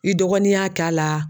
I dɔgɔnin y'a ka la